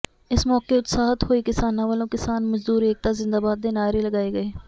ਇਸ ਮੌਕੇ ਉਤਸ਼ਾਹਤ ਹੋਏ ਕਿਸਾਨਾਂ ਵਲੋਂ ਕਿਸਾਨ ਮਜ਼ਦੂਰ ਏਕਤਾ ਜ਼ਿੰਦਾਬਾਦ ਦੇ ਨਾਹਰੇ ਲਗਾਏ ਗਏ